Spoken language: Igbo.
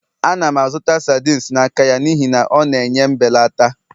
Ana m azụta sardines n'aka ya n'ihi na ọ na-enye mbelata